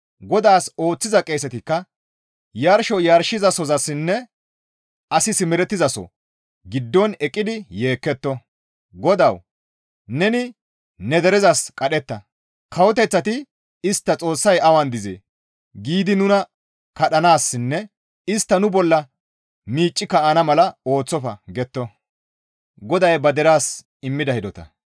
GODAAS ooththiza qeesetikka yarsho yarshizasozassinne asi simerettizaso giddon eqqidi yeekketto; GODAWU! Neni ne derezas qadhetta; kawoteththati istta Xoossay awan dizee? giidi nuna kadhanaassinne istti nu bolla miicci kaa7ana mala ne istta ooththofa» getto.